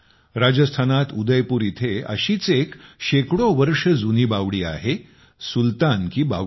राजस्थानात उदयपुर येथे अशीच एक शेकडो वर्ष जुनी बावडी आहे सुलतान की बावडी